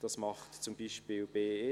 Das tun beispielsweise die BE!